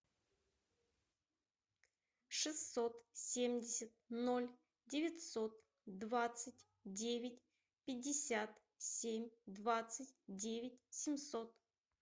шестьсот семьдесят ноль девятьсот двадцать девять пятьдесят семь двадцать девять семьсот